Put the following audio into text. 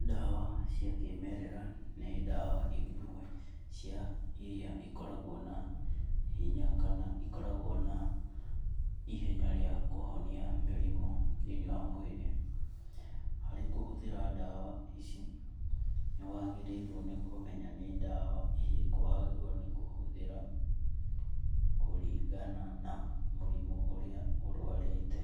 Ndawa cia kĩmererera ni ndawa imwe cia iria ikoragwo na hinya kana ikoragwo na ihenya rĩa kuhonia mĩrimũ thĩ~inĩ wa mwiri. Harĩ kũhũthĩra ndawa ici nĩ wagĩrĩrwo nĩ kụmenya nĩ ndawa ĩrĩkũ wagĩrĩrwo nĩ kũhũthĩra kũringana na mũrimũ ũrĩa ũrwarĩte